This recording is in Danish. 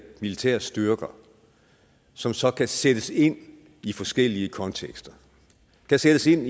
militære styrker som så kan sættes ind i forskellige kontekster kan sættes ind